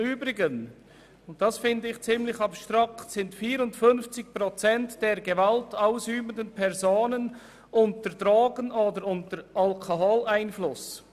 Übrigens stehen 54 Prozent der gewaltausübenden Personen unter Drogen- oder Alkoholeinfluss.